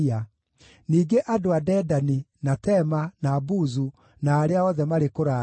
ningĩ andũ a Dedani, na Tema, na Buzu, na arĩa othe marĩ kũraya;